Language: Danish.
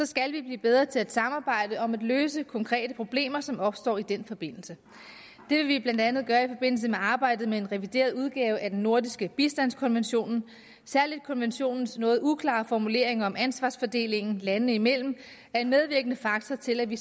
skal blive bedre til at samarbejde om at løse de konkrete problemer som opstår i den forbindelse det vil vi blandt andet gøre i forbindelse med arbejdet med en revideret udgave af den nordiske bistandskonvention særlig konventionens noget uklare formulering om ansvarsfordelingen landene imellem er en medvirkende faktor til at vi